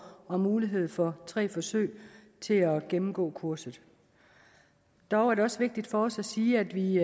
og mulighed for tre forsøg til at gennemgå kurset dog er det også vigtigt for os at sige at vi